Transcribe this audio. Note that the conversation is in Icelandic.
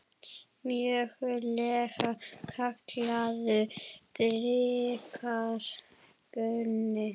Mögulega kallaður bikar Gunni?